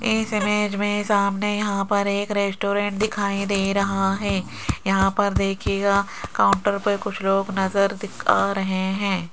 इस इमेज में सामने यहां पर एक रेस्टोरेंट दिखाई दे रहा है यहां पर देखिएगा काउंटर पर कुछ लोग नजर दी आ रहे हैं।